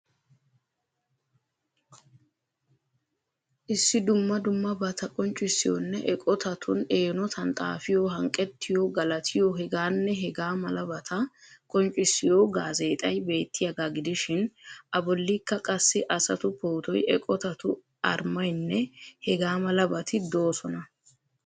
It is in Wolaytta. Issi duumma duummabatta qonccissiyonne eqotatun eenotan xaafiyo, hanqqettiyo, galattiyo, hegaanne hegaa malabaata qonccisiyo gaazeexxay bettiyaaga gidishiin a bollikka qassi asatu pootoy, eqotatu armaynne hegaa malabati doosonna.